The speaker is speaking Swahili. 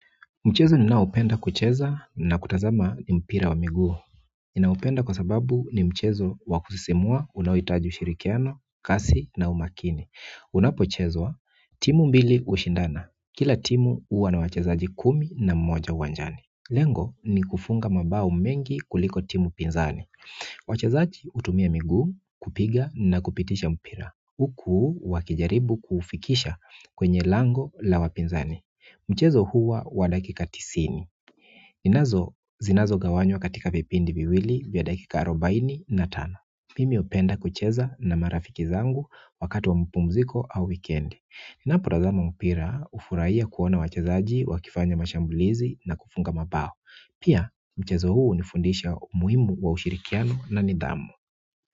Mchezo ninaoupenda kucheza na kutazama ni mpira wa miguu. Ninaupenda kwa sababu ni mchezo wakusisimua unaohitaji ushirikiano, kasi na umakini. Unapochezwa timu mbili ushindana. Kila timu huwa na wachezaji kumi na moja uwanjani. Lengo ni kufunga mabao mengi kuliko timu pinzani. Wachezaji hutumia miguu kupiga na kupitisha mpira. Huku wakijaribu kuufikisha kwenye lango la wapinzani. Mchezo huwa wa dakika tisini. Zinazogawanywa katika vipindi viwili vya dakika arobaini na tano. Mimi hupenda kucheza na marafiki zangu wakati wa mapumziko au wikiendi. Ninapotazama mpira hufurahia kuona wachezaji wakifanya mashambulizi na kufunga mabao. Pia mchezo huu ni fundisho muhimu wa ushirikiano na nidhamu.